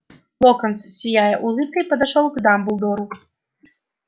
локонс сияя улыбкой подошёл к дамблдору